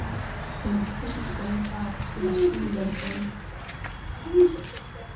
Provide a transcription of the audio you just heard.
Hún trúði varla sínum eigin augum og fann að hún fékk gæsahúð.